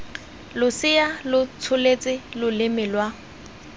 losea lo tsholetse loleme lwa